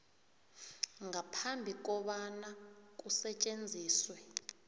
ngaphambi kobana kusetjenziswe